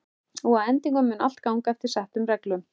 Og að endingu mun allt ganga eftir settum reglum.